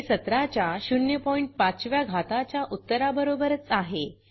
हे 17 च्या 05 व्या घाताच्या उत्तराबरोबरच आहे